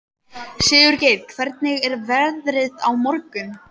Sigurgeir, hvernig er veðrið á morgun?